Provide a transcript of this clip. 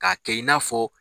Ka kɛ i n'afɔ